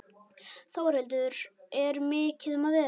Þórhildur, er mikið um að vera?